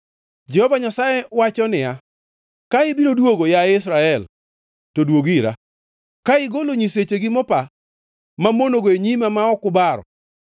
Jehova Nyasaye wacho niya, “Ka ibiro duogo, yaye Israel, to duog ira. Ka igolo nyisechegi mopa mamonogo e nyima ma ok ubaro,